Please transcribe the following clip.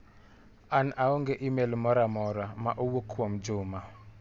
An aong'e imel moro amora ma owuok kuomJuma.